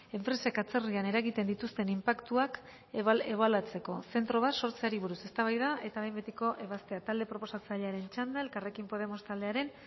enpresek atzerrian eragiten dituzten inpaktuak ebaluatzeko zentro bat sortzeari buruz eztabaida eta behin betiko ebazpena talde proposatzailearen txanda elkarrekin podemos taldearen